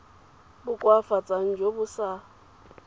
bo koafatsang jo bo sa